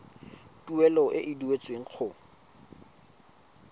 tuelo e e duetsweng go